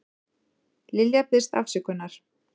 Lilja biðst afsökunar